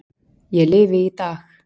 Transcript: Ég lifi í dag.